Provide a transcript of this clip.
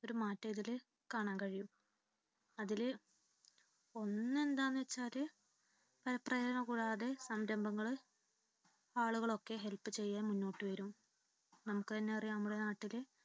ഒരു മാറ്റം ഇതിൽ കാണാൻ കഴിയും. അതിൽ ഒന്ന് എന്താന്ന് വച്ചാല് പരപ്രേരണ കൂടാതെ സംരംഭങ്ങളും ആളുകളുമൊക്കെ help ചെയ്യാൻ മുന്നോട്ട് വരും നമുക്ക് തന്നെ അറിയാം നമ്മുടെ നാട്ടിൽ